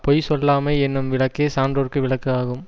பொய் சொல்லாமை என்னும் விளக்கே சான்றோர்க்கு விளக்கு ஆகும்